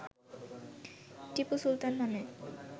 টিপু সুলতান নামে